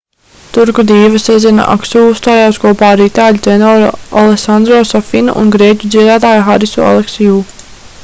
turku dīva sezena aksu uzstājās kopā ar itāļu tenoru alesandro safinu un grieķu dziedātāju harisu aleksiu